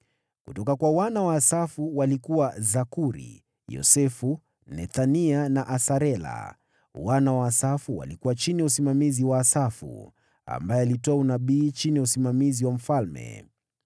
Kutoka kwa wana wa Asafu walikuwa: Zakuri, Yosefu, Nethania na Asarela. Wana wa Asafu walikuwa chini ya usimamizi wa Asafu, ambaye alitoa unabii chini ya usimamizi wa mfalme.